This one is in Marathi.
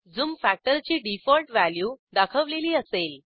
झूम factor ची डिफॉल्ट व्हॅल्यू दाखवलेली असेल